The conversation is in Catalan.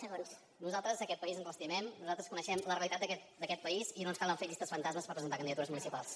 escolti nosaltres aquest país ens l’estimem nosaltres coneixem la realitat d’aquest país i no ens calen fer llistes fantasmes per presentar candidatures municipals